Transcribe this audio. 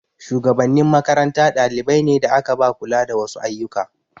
Shugabannin makaranta dalibai ne da aka ba kula da wasu ayyuka.